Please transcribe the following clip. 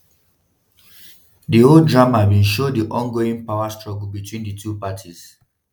di whole drama bin show di ongoing power struggle between di two parties.